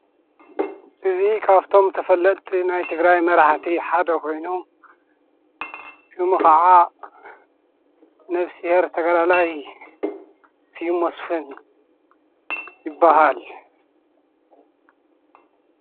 እዙ ኻብቶም ተፈለጥቲ ናይ ትግራይ መራሕቲ ሓደ ኾይኑ ሹሙ ኸዓ ነፍስሔር ተገዳላይ ስዩም መስፍን ይበሃል።